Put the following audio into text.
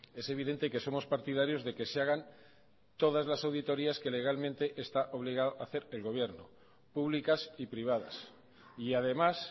es evidente que somos partidarios de que se hagan todas las auditorías que legalmente está obligado a hacer el gobierno públicas y privadas y además